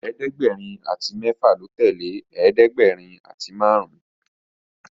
ẹ̀ẹ́dẹ̀gbẹ̀rin àti méfà ló tẹlẹ ẹ̀ẹ́dẹ̀gbẹ̀rin àti márùn